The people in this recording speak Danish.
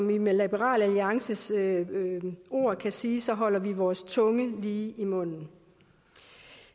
vi med liberal alliances ord kan sige at så holder vi vores tunge lige i munden